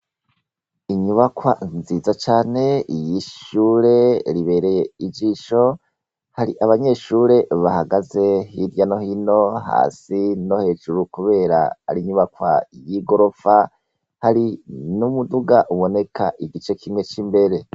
Inyubakwa nziza cane y'ishure ribereye ijisho. Hari abanyeshure bahagaze hirya no hino hasi no hejuru kubera ari inyubakwa y'igorofa. Hari n'umuduga uboneka igice kimwe c'imbere.